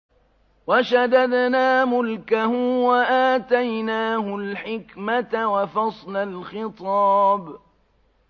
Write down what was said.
وَشَدَدْنَا مُلْكَهُ وَآتَيْنَاهُ الْحِكْمَةَ وَفَصْلَ الْخِطَابِ